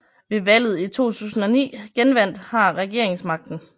Ved valget i 2009 genvandt har regeringsmagten